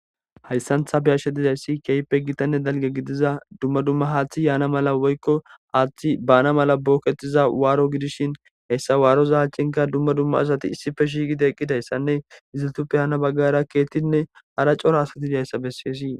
Hayssantha beyashshe dizayssi keeype gitanne dalge gidiza dumma dumma haaththi yaana mala woykko aaththi baana mala bookettiza waaro gidishin hessa waaroza haachcinka dumma dumma asati issife shiiqide eqqidayssanne iziltuppe haana baggara keettinne hara cora asati dhayssa bessees.